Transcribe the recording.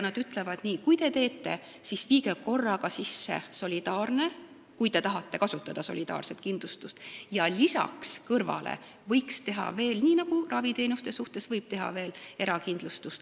Nad ütlevad, et kui teie seda teete, siis viige korraga sisse solidaarne kindlustus, kui te tahate seda kasutada, ja kõrvale võiks teha veel, nii nagu ka raviteenuste puhul, erakindlustuse.